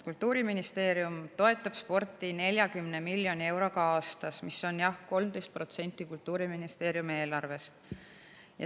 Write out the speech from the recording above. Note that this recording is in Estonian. Kultuuriministeerium toetab sporti 40 miljoni euroga aastas, mis on jah 13% Kultuuriministeeriumi eelarvest.